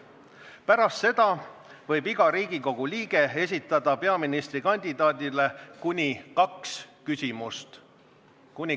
Pärast seda võib iga Riigikogu liige esitada peaministrikandidaadile kuni kaks küsimust.